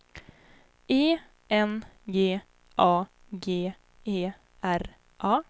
E N G A G E R A